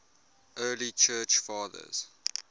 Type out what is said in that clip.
early church fathers